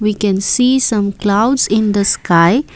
we can see some clouds in the sky.